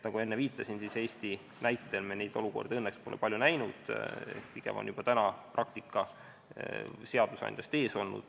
Nagu ma enne viitasin, siis Eesti näitel me neid olukordi õnneks pole palju näinud, pigem on praktika seadusandjast ees olnud.